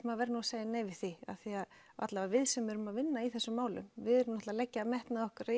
maður verði að segja nei við því af því að allavega við sem erum að vinna í þessum málum við erum að leggja metnað okkar